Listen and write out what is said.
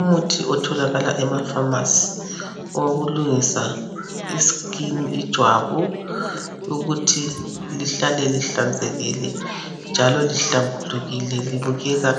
Umuthi otholakala emafamasi owokulungisa i"skin" ijwabu ukuthi ihlale lihlanzekile njalo lihlambulukile libukeka